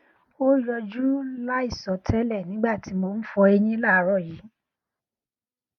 o yọju laisọtẹlẹ nigba ti mo n fọ eyin laaarọ yii